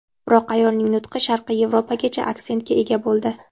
Biroq ayolning nutqi sharqiy Yevropacha aksentga ega bo‘ldi.